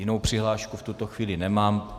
Jinou přihlášku v tuto chvíli nemám.